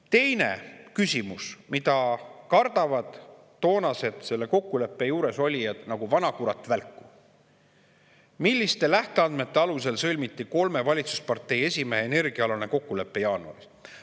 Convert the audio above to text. Teine küsimus, mida kardavad toona selle kokkuleppe juures olnud nagu vanakurat välku: milliste lähteandmete alusel sõlmiti kolme valitsuspartei esimehe energiaalane kokkulepe jaanuaris?